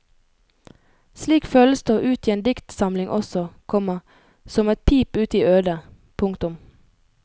Slik føles det å utgi en diktsamling også, komma som et pip ut i ødet. punktum